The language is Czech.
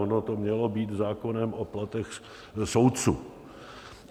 Ono to mělo být zákonem o platech soudců.